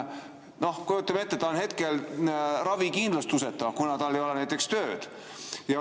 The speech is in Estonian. Kujutage ette, et inimene on ravikindlustuseta, kuna tal ei ole tööd.